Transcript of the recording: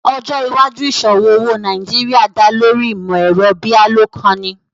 Ọjọ́ iwàjúù iṣọwọ owo ní Nàìjíríà dá lórí ìmọ̀-ẹ̀rọ̀ bíalòkàinì